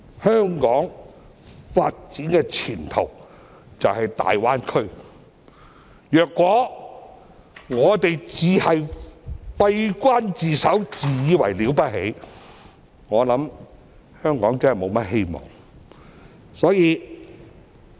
香港發展的前途就是大灣區，如果我們只閉關自守、自以為了不起，香港便沒有希望了。